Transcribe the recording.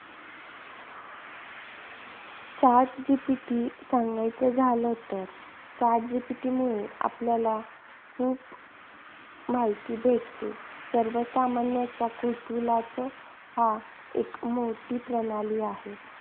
Chat GPT सांगायचं झालं तर, Chat GPT मुळे आपल्याला खूप माहिती भेटते. सर्वसामान्यांच्या कुतूहलाचं हा एक मोठी प्रणाली आहे.